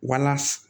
Wala